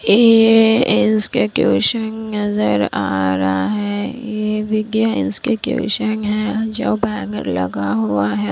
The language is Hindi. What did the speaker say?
ये इंस्टीट्यूशन नजर आ रहा है ये विद्या इंस्टीट्यूशन है जो बैनर लगा हुआ है।